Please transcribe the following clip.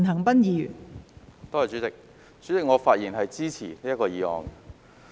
代理主席，我發言支持這項議案。